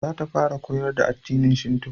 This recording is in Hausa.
Za ta fara koyar da addinin shinto